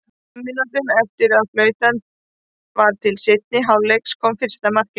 Fimm mínútum eftir að flautað var til seinni hálfleiks kom fyrsta markið.